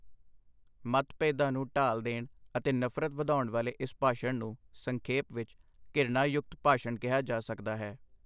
ਮਤਭੇਦਾਂ ਨੂੰ ਢਾਲ ਦੇਣ ਅਤੇ ਨਫ਼ਰਤ ਵਧਾਉਣ ਵਾਲੇ ਇਸ ਭਾਸ਼ਣ ਨੂੰ ਸੰਖੇਪ ਵਿੱਚ ਘਿਰਣਾਯੁਕਤ ਭਾਸ਼ਣ ਕਿਹਾ ਜਾ ਸਕਦਾ ਹੈ।